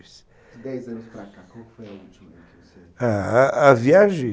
Dez anos para cá, qual foi a última? A viagem